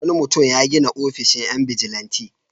Wani mutum ya gina ofishin 'yan bijilanti.